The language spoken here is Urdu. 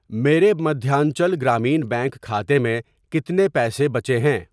میرے مدھیانچل گرامین بینک کھاتے میں کتنے پیسے بچے ہیں؟